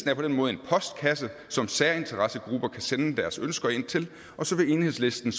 er på den måde en postkasse som særinteressegrupper kan sende deres ønsker til og så vil enhedslisten